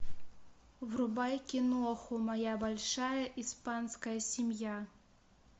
врубай киноху моя большая испанская семья